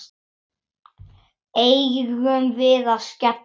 Eigum við að skella okkur?